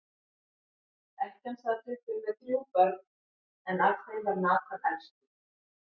Ekkjan sat uppi með þrjú börn, en af þeim var Nathan elstur.